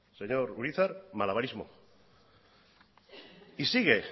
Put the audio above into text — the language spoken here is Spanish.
señor urizar malabarismo y sigue